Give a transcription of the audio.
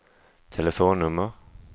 telefonnummer